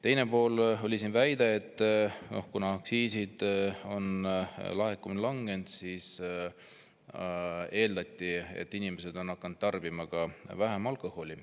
Teine pool on siin olnud väide, et kuna aktsiiside laekumine on langenud, siis eeldatakse, et inimesed on hakanud tarbima vähem alkoholi.